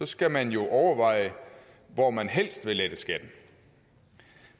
skal man jo overveje hvor man helst vil lette skatten